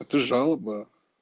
эта жалоба